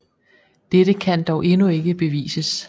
Dette kan dog endnu ikke bevises